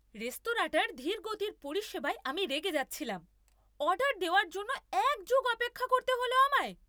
রেস্তোরাঁটার ধীরগতির পরিষেবায় আমি রেগে যাচ্ছিলাম। অর্ডার দেওয়ার জন্য এক যুগ অপেক্ষা করতে হলো আমায়!